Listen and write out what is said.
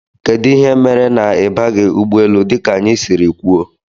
Kedụ ihe mere na ibiaghi ụgbọ élú dika anyị siri kwụọ?